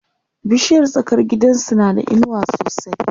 bishiyar tsakar gidansu na da inuwa sosai